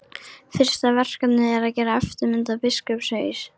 Fyrsta verkefnið er að gera eftirmynd af biskupshaus.